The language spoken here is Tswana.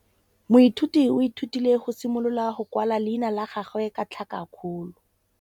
Moithuti o ithutile go simolola go kwala leina la gagwe ka tlhakakgolo.